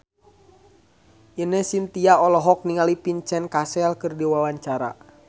Ine Shintya olohok ningali Vincent Cassel keur diwawancara